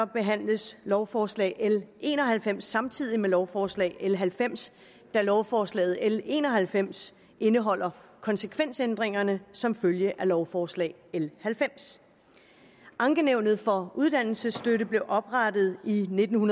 behandles lovforslag l en og halvfems samtidig med lovforslag l halvfems da lovforslag l en og halvfems indeholder konsekvensændringer som følge af lovforslag l halvfems ankenævnet for uddannelsesstøtten blev oprettet i nitten